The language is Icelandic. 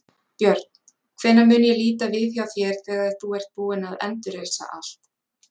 Björn: Hvenær mun ég líta við hjá þér þegar þú ert búinn að endurreisa allt?